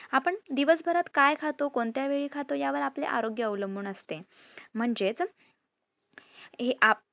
आपण दिवस भरात काय खातो, कोणत्या वेळी खातो यावर आपले आरोग्य अवलूंबून असते. म्हणजेच हे आप